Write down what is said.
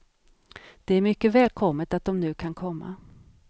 Det är mycket välkommet att de nu kan komma.